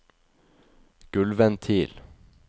gulvventil